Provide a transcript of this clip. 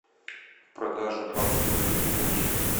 продажа баксов выгодный курс